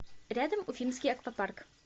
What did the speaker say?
рядом уфимский аквапарк